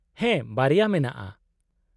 -ᱦᱮᱸ ᱵᱟᱨᱭᱟ ᱢᱮᱱᱟᱜᱼᱟ ᱾